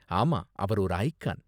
ஆமா, அவர் ஒரு ஐகான்.